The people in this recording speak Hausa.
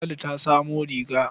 Ladi ta samo riga.